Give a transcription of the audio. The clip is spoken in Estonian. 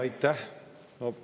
Aitäh!